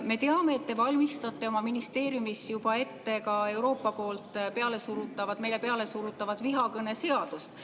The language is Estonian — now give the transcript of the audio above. Me teame, et te valmistate oma ministeeriumis juba ette ka Euroopa poolt meile pealesurutavat vihakõneseadust.